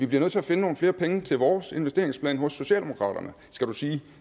vi nødt til at finde nogle flere penge til vores investeringsplan hos socialdemokraterne